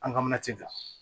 An ka mana tɛ jɔ